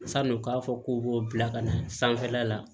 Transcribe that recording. San'u k'a fɔ k'u b'o bila ka na sanfɛla la